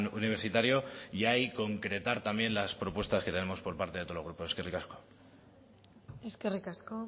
universitario y ahí concretar también las propuestas que tenemos por parte de todos los grupos eskerrik asko eskerrik asko